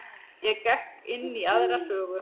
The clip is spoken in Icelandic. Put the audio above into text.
Ég gekk inn í aðra sögu.